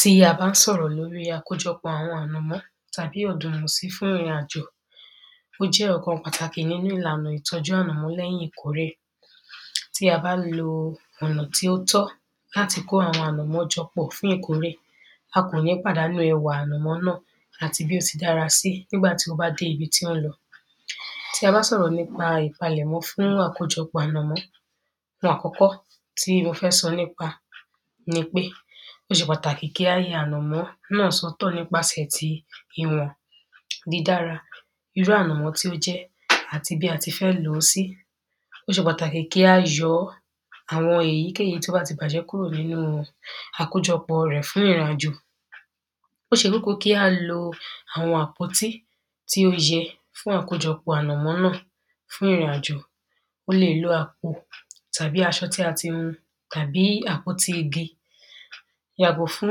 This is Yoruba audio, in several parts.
tí a bá sọ̀rọ̀ lóri àkójọpọ̀ àwọn ànàmọ́ tàbí ọ̀dùnmọ̀sí fún ìrìn àjò, ó jẹ́ ọ̀kan pàtàkì nínu ìlànà ìtọ́ju ànàmọ́ lẹ́yin ìkórè. tí a bá lo ọ̀nà tí ó tọ́ láti kó àwọn ànàmọ́ jọ pọ̀ fún ìkórè a kò ní pàdánù ẹwà ànàmọ́ náà àti bí ó ti dára sí nígbàtí ó bá dé ibi tí ó ń lọ tí a bá sọ̀rọ̀ nípa ìpalẹ̀mọ́ fún àkójọpọ̀ ànàmọ́ ohun àkọ́kọ́ tí mo fẹ́ sọ nípa ni pé ó ṣe pàtàkì kí á yọ ànàmọ́ sí ọ̀tọ̀ nípasẹ̀ ti ìwọ̀n, dídára, irú ànọ̀mọ́ tí ó jẹ́, àti bí a ti fẹ́ lò ó sí ó ṣe pàtàkì kí á yọ àwọn èyíkèyí tí ó bá ti bàjẹ́ kúrò nínu àkójọpọ̀ rẹ̀ fún ìrìn àjò ó ṣe kókó kí á lo àwọn àpótí tí ó yẹ fún àkójọpọ̀ ànàmọ́ náà fún ìrìn àjò o lè lo àpò, tàbí aṣọ tí a ti hun, tàbí àpótí igi. yàgò fún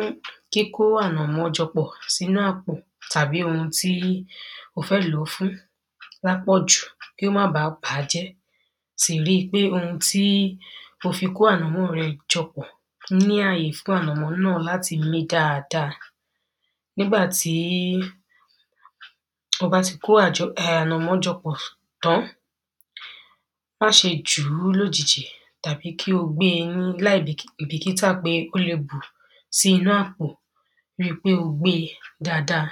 kíkó ànàmọ́ jọ pọ̀ sínu àpò tàbí ohun tí o fẹ́ lò fún lápọ̀jù kí ó má ba bàjẹ́ sì ri pé ohun tí o fi kó ànọ̀mọ́ rẹ jọ pọ̀ rí àyè láti mí dáadáa nígbàtí o bá ti kó ànàmọ́ jọ pọ̀ tán, ma ṣé jùú lójijì, tàbí kí o gbé é láìbìkítà pé ó le bù sí inú àpò ríi pé o gbé e dáadáa